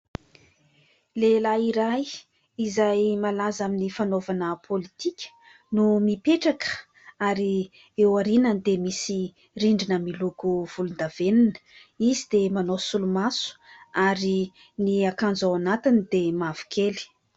Lehilahy iray izay malaza amin'ny fanaovana politika no mipetraka ary eo aoriany dia misy rindrina miloko volondavenona, izy dia manao solomaso ary ny akanjo ao anatiny dia mavokely.